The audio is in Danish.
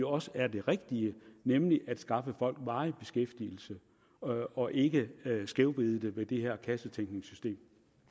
også er det rigtige nemlig at skaffe folk varig beskæftigelse og og ikke skævvride det med det her kassetænkningssystem